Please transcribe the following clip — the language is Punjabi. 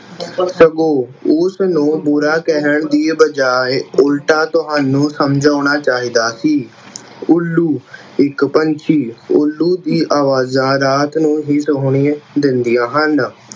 ਸਗੋਂ ਉਸਨੂੰ ਬੁਰਾ ਕਹਿਣ ਦੀ ਬਜਾਏ ਉਲਟਾ ਤੁਹਾਨੂੰ ਸਮਝਾਉਣਾ ਚਾਹੀਦਾ ਸੀ। ਉੱਲੂ, ਇੱਕ ਪੰਛੀ ਉੱਲੂ ਦੀਆਂ ਅਵਾਜ਼ਾਂ ਰਾਤ ਨੂੰ ਹੀ ਸੁਣਾਈ ਦਿੰਦੀਆਂ ਹਨ।